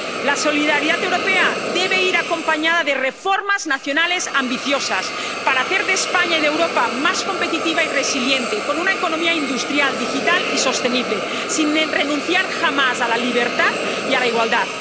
La solidaridad europea debe ir acompañada de reformas nacionales ambiciosas para hacer que España y Europa sean más competitivas y resilientes, con una economía industrial, digital y sostenible, sin renunciar jamás a la libertad y a la igualdad.